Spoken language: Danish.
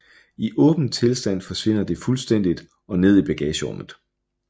I åben tilstand forsvinder det fuldstændigt og ned i bagagerummet